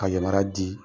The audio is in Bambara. Ka yamaruya di